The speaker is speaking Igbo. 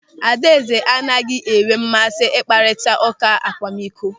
Adaeze anaghị enwe mmasị mkparịta ụka akwamikọ.